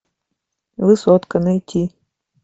высотка найти